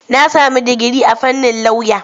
Na sami digiri a fannin lauya.